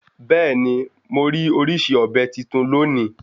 Bẹ́ẹ̀ni morí orísìí ọ̀bẹ́ titun lónìí